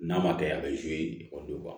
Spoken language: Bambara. N'a ma kɛ a bɛ ekɔlidenw kan